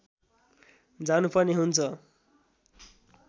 जानुपर्ने हुन्छ